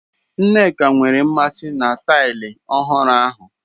Nneka nwere mmasị na taịlị ọhụrụ ahu.